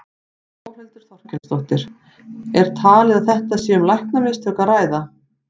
Þórhildur Þorkelsdóttir: Er talið að þetta sé um læknamistök að ræða?